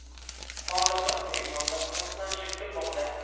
Hozirda uning nomzodi tasdiqlanishi kutilmoqda.